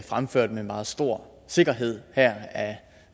fremfører dem med meget stor sikkerhed her af